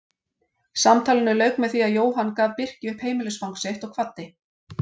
Samtalinu lauk með því að Jóhann gaf Birki upp heimilisfang sitt og kvaddi.